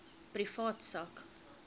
privaat sak